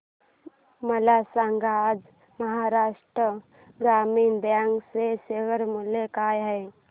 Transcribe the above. मला सांगा आज महाराष्ट्र ग्रामीण बँक चे शेअर मूल्य काय आहे